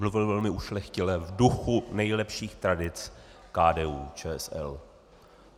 Mluvil velmi ušlechtile v duchu nejlepších tradic KDU-ČSL.